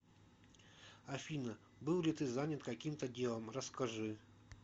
афина был ли ты занят каким то делом расскажи